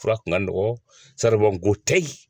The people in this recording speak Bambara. Fura tun ka nɔgɔ saribɔnko tɛ yen